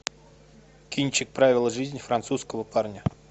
кинчик правила жизни французского парня